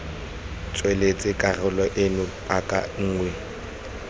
tsweletsa karolo eno paka nngwe